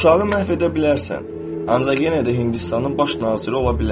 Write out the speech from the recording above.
Uşağı məhv edə bilərsən, ancaq yenə də Hindistanın baş naziri ola bilər.